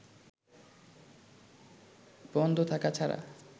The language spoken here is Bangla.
বন্ধ থাকা ছাড়া